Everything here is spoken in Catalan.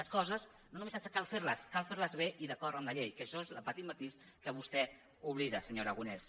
les coses no només cal fer les cal fer les bé i d’acord amb la llei que això és el petit matís que vostè oblida senyor aragonès